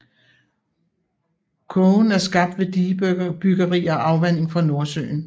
Kogen er skabt ved digebyggeri og afvanding fra Nordsøen